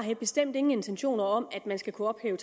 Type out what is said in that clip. jeg bestemt ingen intentioner har om at man skal kunne ophæve